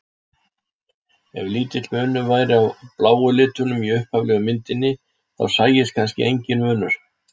Ef lítill munur væri á bláu litunum í upphaflegu myndinni þá sæist kannski enginn munur.